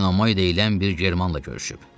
Eomoy deyilən bir germanla görüşüb.